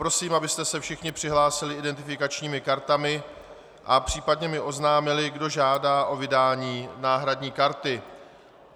Prosím, abyste se všichni přihlásili identifikačními kartami a případně mi oznámili, kdo žádá o vydání náhradní karty.